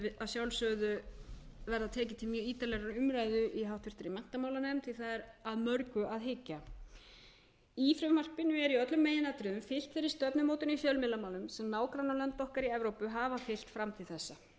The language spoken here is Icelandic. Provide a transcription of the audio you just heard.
sjálfsögðu verða tekið til mjög ítarlegrar umræðu í háttvirtri menntamálanefnd því að það er að mörgu að hyggja í frumvarpinu er í öllum meginatriðum fylgt þeirri stefnumótun í fjölmiðlamálum sem nágrannalönd okkar í evrópu hafa fylgt fram til þessa